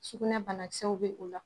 Sugunɛ banakisɛw bɛ o la